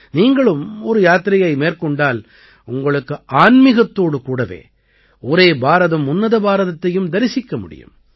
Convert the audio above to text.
நீங்களும் ஒரு யாத்திரையை மேற்கொண்டால் உங்களுக்கு ஆன்மீகத்தோடு கூடவே ஒரே பாரதம் உன்னத பாரதத்தையும் தரிசிக்க முடியும்